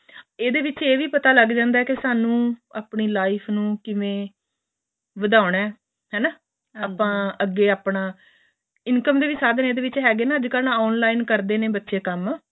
ਏਹਦੇ ਵਿੱਚ ਏਹ ਵੀ ਪਤਾ ਲੱਗ ਜਾਂਦਾ ਸਾਨੂੰ ਆਪਣੀ life ਨੂੰ ਕਿਵੇਂ ਵ੍ਧੋਨਾ ਹੈਨਾ ਆਪਾਂ ਅੱਗੇ ਆਪਣਾ income ਦੇ ਸਾਧਨ ਵੀ ਇਹਦੇ ਵਿੱਚ ਹੈਗੇ ਨੇ ਅੱਜ ਕੱਲ ਬੱਚੇ online ਕਰਦੇ ਨੇ ਕੰਮ ਬੱਚੇ